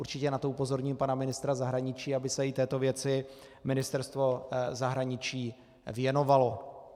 Určitě na to upozorním pana ministra zahraničí, aby se i této věci Ministerstvo zahraničí věnovalo.